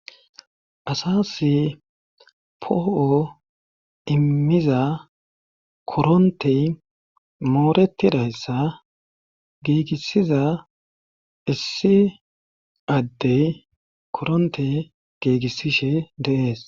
Assas poo'o immiza korontey mooretidayssa giigissiza issi addey koronte gigissishshe de'ees